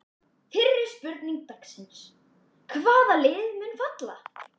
Fyrri spurning dagsins: Hvaða lið munu falla?